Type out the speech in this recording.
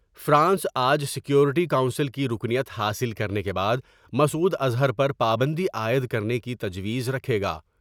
France آج security council کی رکنیت حاصل کرنے کے بعد مسعوداظہر پر پابندی عائد کرنے کی تجویز رکھے گا ۔